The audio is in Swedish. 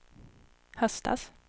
höstas